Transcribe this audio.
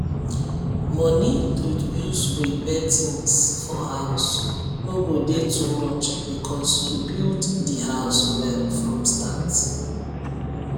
money to use repair things for house no go dey too much because you build di house well from start